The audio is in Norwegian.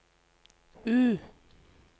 U